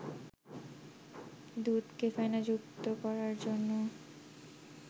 দুধকে ফেনাযুক্ত করার জন্য